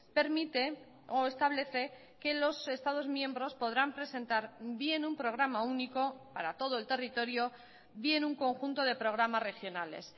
permite o establece que los estados miembros podrán presentar bien un programa único para todo el territorio bien un conjunto de programas regionales